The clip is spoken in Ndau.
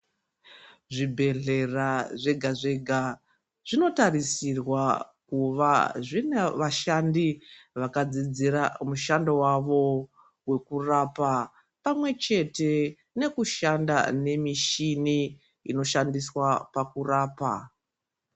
Zvibhedhlera zvega-zvega, zvinotarisirwa kuva zvina vashandi vakadzidzira mushando wavo wekurapa ,pamwe chete nokushanda nemichini inoshandiswa pakurapa.